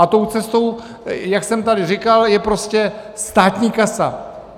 A tou cestou, jak jsem tady říkal, je prostě státní kasa.